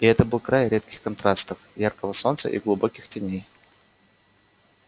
и это был край резких контрастов яркого солнца и глубоких теней